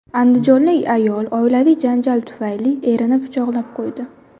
Andijonlik ayol oilaviy janjal tufayli erini pichoqlab qo‘ydi.